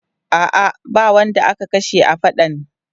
A'a, ba wanda aka kashe a faɗan.